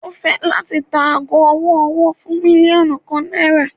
O fẹ lati ta aago ọwọ-ọwọ fun milionu kan naira